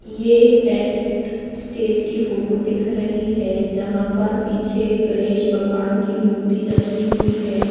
यह एक tent stage की फोटो दिख रही है जहां पर पीछे गणेश भगवान की मूर्ति रखी हुई है।